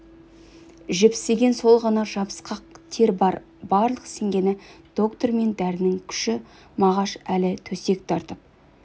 жіпсіген сол ғана жабысқақ тер бар барлық сенгені доктор мен дәрінің күші мағаш әлі төсек тартып